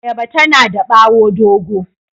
Ayaba tana da bawo dogo.